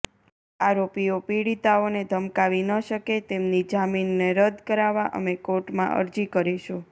આરોપીઓ પીડિતાઓને ધમકાવી ન શકે તેમની જામીનને રદ કરાવવા અમે કોર્ટમાં અરજી કરીશું